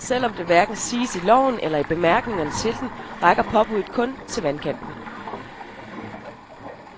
Selv om det hverken siges i loven eller i bemærkningerne til den, rækker påbudet kun til vandkanten.